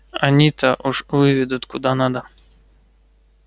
они-то уж выведут куда надо